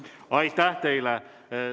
Aitäh teile!